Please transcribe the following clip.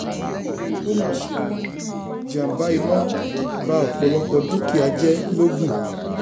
ó mà ṣe o ìjàmbá iná ba ọpọlọpọ dúkìá jẹ logun